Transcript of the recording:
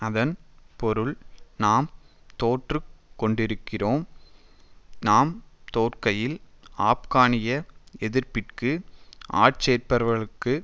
அதன் பொருள் நாம் தோற்றுக் கொண்டிருக்கிறோம் நாம் தோற்கையில் ஆப்கானிய எதிர்ப்பிற்கு ஆட்சேர்ப்பவர்களுக்கு